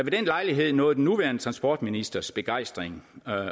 lejlighed nåede den nuværende transportministers begejstring